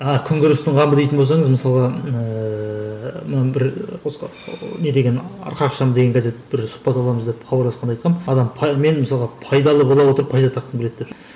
а күн көрістің қамы дейтін болсаңыз мысалға ыыы мына бір не деген арқа ақшамы деген газеті бір сұхбат аламыз деп хабарласқанда айтқанмын адам мен мысалы пайдалы бола отырып пайда тапқым келеді деп